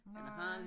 Nej